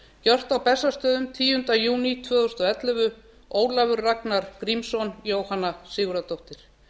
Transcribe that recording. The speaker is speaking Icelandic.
gjört á bessastöðum tíunda júní tvö þúsund og ellefu ólafur ragnar grímsson jóhanna sigurðardóttir